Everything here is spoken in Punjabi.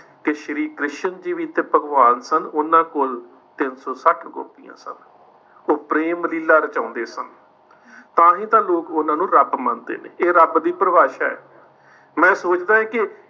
ਕਿ ਸ੍ਰੀ ਕ੍ਰਿਸ਼ਨ ਜੀ ਵੀ ਤਾਂ ਭਗਵਾਨ ਸਨ ਉਨ੍ਹਾਂ ਕੋਲ ਤਿੰਨ ਸੌ ਸੱਠ ਗੋਪੀਆਂ ਸਨ। ਉਹ ਪ੍ਰੇਮ ਲੀਲਾ ਰਚਾਉਂਦੇ ਸਨ। ਤਾਂ ਹੀ ਤਾਂ ਲੋਕ ਉਨ੍ਹਾਂ ਨੂੰ ਰੱਬ ਮੰਨਦੇ ਨੇ। ਇਹ ਰੱਬ ਦੀ ਪਰਿਭਾਸ਼ਾ ਹੈ। ਮੈਂ ਸੋਚਦੇ ਕਿ